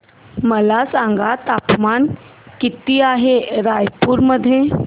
मला सांगा तापमान किती आहे रायपूर मध्ये